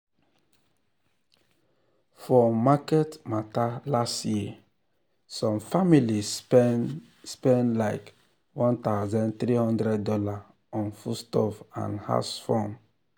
for market matter last year some family spend spend likeone thousand three hundred dollarson foodstuff and house run.